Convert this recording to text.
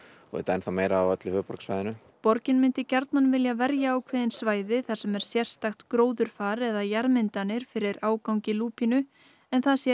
auðvitað meira á öllu höfuðborgarsvæðinu borgin myndi gjarnan vilja verja ákveðin svæði þar sem er sérstakt gróðurfar eða jarðmyndanir fyrir ágangi lúpínu en það sé